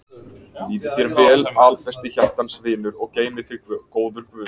Líði þér vel albesti hjartans vinur og geymi þig góður guð.